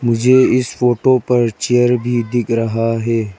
मुझे इस फोटो पर चेयर भी दिख रहा है।